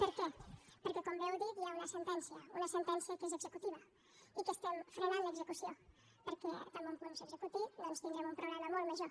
per què perquè com bé heu dit hi ha una sentència una sentència que és executiva i que n’estem frenant l’execució perquè tan bon punt s’executi doncs tindrem un problema molt major